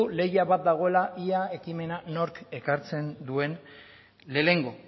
lehia bat dagoela ea ekimena nork ekartzen duen lehenengo